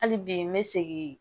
Hali bi n bɛ segin